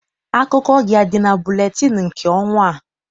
Akụkọ gị adị na buletịịnụ nke ọnwa a?